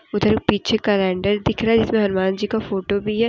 उधर पीछे कैलेंडर दिख रहा है जिसमें हनुमान जी का फोटो भी है।